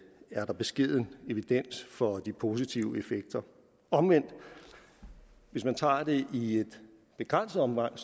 er der beskeden evidens for de positive effekter omvendt hvis man tager det i et begrænset omfang